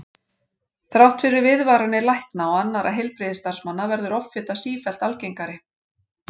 Þrátt fyrir viðvaranir lækna og annarra heilbrigðisstarfsmanna verður offita sífellt algengari.